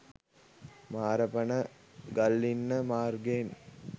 මාරපන ගල්ලින්න මාර්ගයෙන්